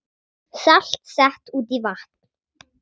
Salt sett út í vatn